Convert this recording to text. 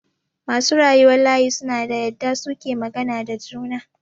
Masu rayuwan layi suna da yadda suke magana da juna.